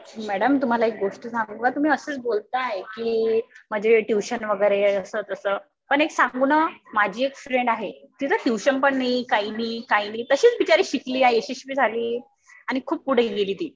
Madam तुम्हाला एक गोष्ट सांगू का? तुम्ही असंच बोलताय कि म्हणजे ट्युशन वगैरे असं तसं. पण एक सांगू ना माझी एक फ्रेंड आहे. ती च ट्युशन पण नाही. काही नाही. काही नाही. तशीच बिचारी शिकली आहे. यशस्वी झाली. आणि खुप पुढे गेली ती.